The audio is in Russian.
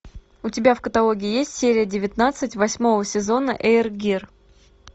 у тебя в каталоге есть серия девятнадцать восьмого сезона эйр гир